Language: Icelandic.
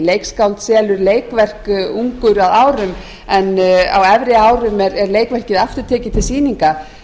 leikskáld selur leikverk ungur að árum en á efri árum er leikverkið aftur tekið til sýninga þá